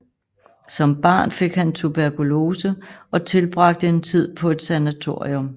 Som barn fik han tuberkulose og tilbragte en tid på et sanatorium